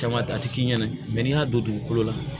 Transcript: Caman a tɛ k'i ɲɛna n'i y'a don dugukolo la